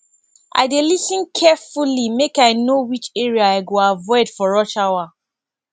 i dey lis ten carefully make i know which area i go avoid for rush hour